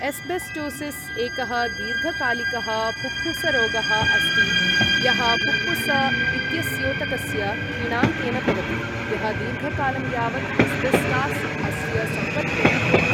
Asbestosis एकः दीर्घकालिकः फुफ्फुसरोगः अस्ति यः फुफ्फुस इत्यस्योतकस्य किणाङ्केन भवति, यः दीर्घकालं यावत् एस्बेस्टास् अस्य संपर्केण भवति।